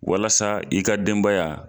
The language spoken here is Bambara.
Walasa i ka denbaya